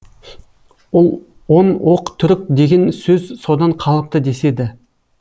он оқ түрік деген сөз содан қалыпты деседі